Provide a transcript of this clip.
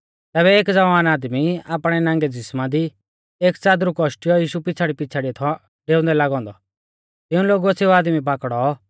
तैबै एक ज़वान आदमी आपणै नांगै ज़िसमा दी एक च़ादरू कौशटियौ यीशु पिछ़ाड़ीपिछ़ाड़िऐ थौ डेउंदै लागौ औन्दौ तिऊं लोगुऐ सेऊ आदमी पाकड़ौ